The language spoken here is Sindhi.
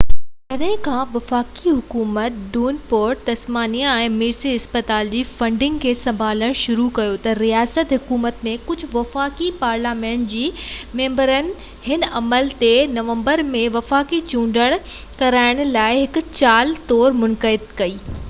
جڏهن کان وفاقي حڪومت ڊيونپورٽ تسمانيا ۾ ميرسي اسپتال جي فنڊنگ کي سنڀالڻ شروع ڪيو ته رياست حڪومت ۽ ڪجهه وفاقي پارليامينٽ جي ميمبرن هن عمل تي نومبر ۾ وفاقي چونڊ ڪرائڻ لاءِ هڪ چال طور تنقيد ڪئي